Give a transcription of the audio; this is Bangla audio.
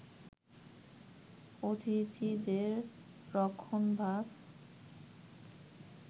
অতিথিদের রক্ষণভাগ